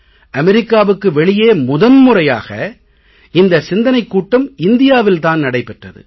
அமெரிக்காவுக்கு வெளியே முதன் முறையாக இந்த சிந்தனைக் கூட்டம் இந்தியாவில் தான் நடைபெற்றது